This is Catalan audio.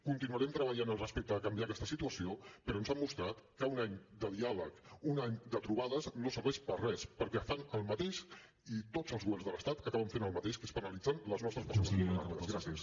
continuarem treballant per canviar aquesta situació però ens han mostrat que un any de diàleg un any de trobades no serveix per a res perquè fan el mateix i tots els governs de l’estat acaben fent el mateix que és penalitzar les nostres persones vulnerables